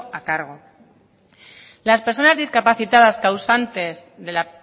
a cargo las personas discapacitadas causantes de la